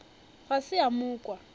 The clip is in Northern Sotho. ga se a mo kwa